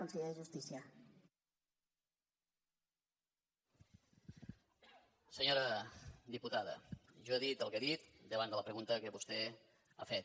senyora diputada jo he dit el que he dit davant de la pregunta que vostè ha fet